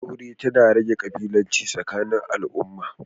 Auratayya tana rage ƙabilanci tsakanin al'umma.